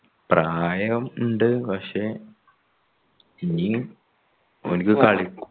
പ്രായം ഇണ്ട് പക്ഷെ ഇനി ഓനിക്ക്